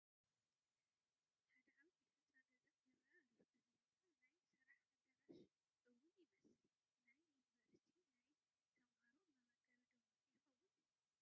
ሓደ ዓብይ ህንፃ ገዛ ይራኣይ ኣሎ፣ እዚ ህንፃ ናይ ስራሕ ኣዳራሽ ውን ይመስል፣ ናይ ዩኒቨርስቲ ናይ ተምሃሮ መመገቢ ዶ ይኸውን?